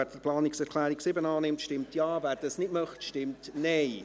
Wer die Planungserklärung 7 annimmt, stimmt Ja, wer dies nicht möchte, stimmt NeinEs